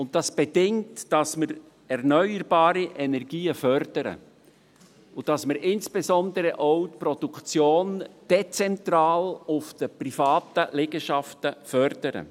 Das bedingt, dass wir erneuerbare Energien und insbesondere auch die dezentrale Produktion auf den privaten Liegenschaften fördern.